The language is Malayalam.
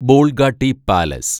ബോള്‍ഗാട്ടി പാലസ്